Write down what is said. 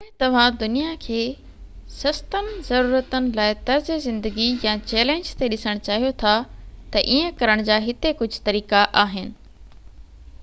جيڪڏهن توهان دنيا کي سستن ضرورتن لاءِ طرزِ زندگي يا چئلينج تي ڏسڻ چاهيو ٿا ته ايئن ڪرڻ جا هتي ڪجهه طريقا آهن